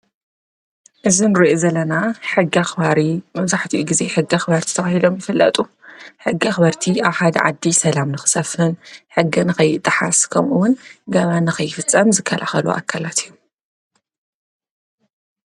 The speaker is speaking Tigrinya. እዚ ንሪኦ ዘለና ሕጊ አኽባሪ መበዛሕቲኡ ግዜ ሕጊ አኽበረቲ ተባሂሎም ይፍለጡ። ሕጊ አኽበረቲ አብ ሓደ ዓዲ ሰላም ንክሰፍን ሕጊ ንከይጠሓስ ከምኡ እውን ገበን ንከይፍፀም ዝከላኸሉ አካላት እዩ፡፡